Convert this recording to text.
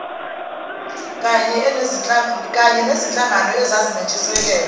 kany enezinhlangano ezazinentshisekelo